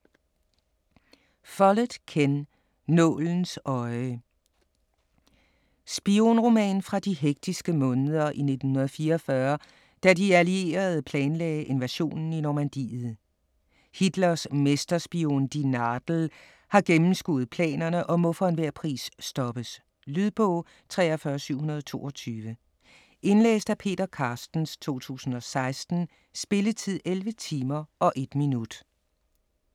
Follett, Ken: Nålens øje Spionroman fra de hektiske måneder i 1944, da de allierede planlagde invasionen i Normandiet. Hitlers mesterspion "die Nadel" har gennemskuet planerne og må for enhver pris stoppes. Lydbog 43722 Indlæst af Peter Carstens, 2016. Spilletid: 11 timer, 1 minut.